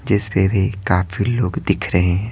जिस पे भी काफी लोग दिख रहे हैं।